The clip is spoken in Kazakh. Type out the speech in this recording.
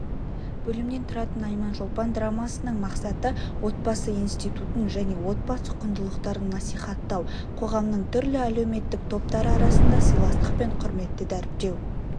бөлімнен тұратын айманшолпан драмасының мақсаты отбасы институтын және отбасы құндылықтарын насихаттау қоғамның түрлі әлеуметтік топтары арасында сыйластық пен құрметті дәріптеу